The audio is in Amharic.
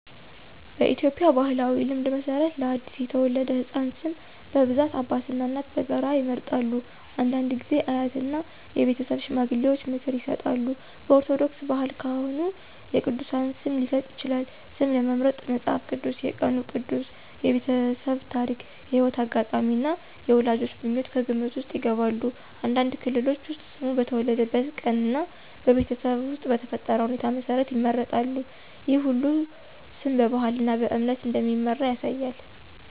በኢትዮጵያ ባሕላዊ ልማድ መሠረት ለአዲስ የተወለደ ሕፃን ስም በብዛት አባትና እናት በጋራ ይመርጣሉ። አንዳንድ ጊዜ አያትና የቤተሰብ ሽማግሌዎች ምክር ይሰጣሉ። በኦርቶዶክስ ባህል ካህኑ የቅዱሳን ስም ሊሰጥ ይችላል። ስም ለመምረጥ መጽሐፍ ቅዱስ፣ የቀኑ ቅዱስ፣ የቤተሰብ ታሪክ፣ የሕይወት አጋጣሚ እና የወላጆች ምኞት ከግምት ውስጥ ይገባሉ። አንዳንድ ክልሎች ውስጥ ስሙ በተወለደበት ቀን እና በቤተሰብ ውስጥ በተፈጠረ ሁኔታ መሠረት ይመረጣል። ይህ ሁሉ ስም በባህልና በእምነት እንደሚመራ ያሳያል።